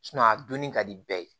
a donni ka di bɛɛ ye